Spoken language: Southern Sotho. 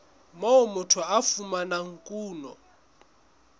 moo motho a fumanang kuno